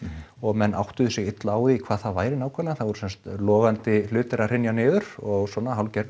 og menn áttuðu sig illa á því hvað það væri nákvæmlega það voru sem sagt logandi hlutir að hrynja niður og svona hálfgerð